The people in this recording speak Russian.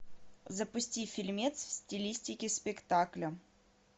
запусти фильмец в стилистике спектакля